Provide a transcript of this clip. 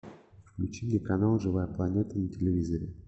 включи мне канал живая планета на телевизоре